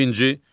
İkinci.